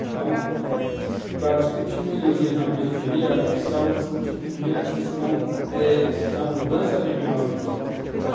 Então, para discutir melhorias na periferia, precisava discutir primeiro a questão da eh da mudança regional de voto.